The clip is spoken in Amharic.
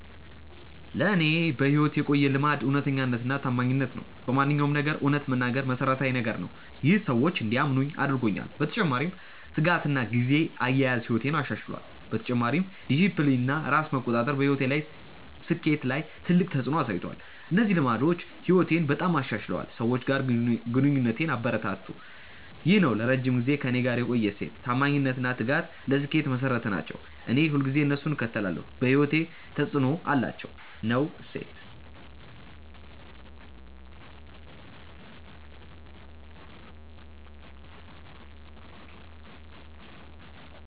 ለእኔ በሕይወቴ የቆየ ልማድ እውነተኛነትና ታማኝነት ነው። በማንኛውም ነገር እውነት መናገር መሠረታዊ ነገር ነው። ይህ ሰዎች እንዲያምኑኝ አድርጎኛል። በተጨማሪ ትጋትና ጊዜ አያያዝ ሕይወቴን አሻሽሏል። በተጨማሪም ዲሲፕሊን እና ራስ መቆጣጠር በሕይወቴ ስኬት ላይ ትልቅ ተፅዕኖ አሳይቷል። እነዚህ ልማዶች ሕይወቴን በጣም አሻሽለው ሰዎች ጋር ግንኙነቴን አበረታቱ። ይህ ነው ለረጅም ጊዜ ከእኔ ጋር የቆየ እሴት። ታማኝነት እና ትጋት ለስኬት መሠረት ናቸው። እኔ ሁልጊዜ እነሱን እከተላለሁ። በሕይወቴ ተፅዕኖ አላቸው።። ነው እሴት።